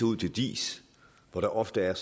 ud til diis hvor der ofte er